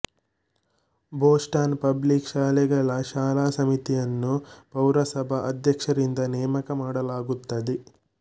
Boston public ಶಾಲೆಗಳ ಶಾಲಾ ಸಮಿತಿಯನ್ನು ಪೌರಸಭಾ ಅಧ್ಯಕ್ಷರಿಂದ ನೇಮಕ ಮಾಡಲಾಗುತ್ತದೆ